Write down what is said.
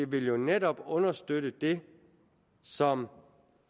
vil jo netop understøtte det som